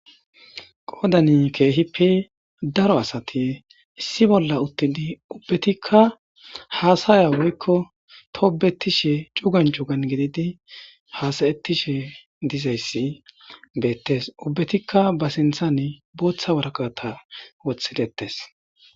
qoodani keehipi daro asati issi bolla uttidi ubbatikka haasaya woykko toobetishe cugan cugan gididi haasayettishe dizayssi beettes ubbetikka ba sinthan booththa waraqata wothidettes